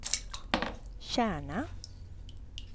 Kärna